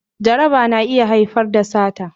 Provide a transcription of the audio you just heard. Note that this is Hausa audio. Jaraba na iya haifar da sata